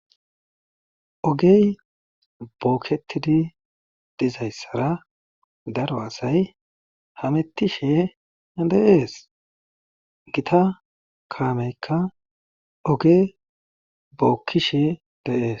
Oge boketizi dizayssara daro asay hametishe de'ees. gita kaamekka oge bokkishe de'ees.